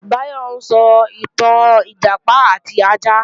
Báyọ̀ ń sọ ìtàn Ìjàpá àti ajá